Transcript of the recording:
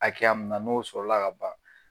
Hakɛya mun na, n'o sɔrɔla ka ban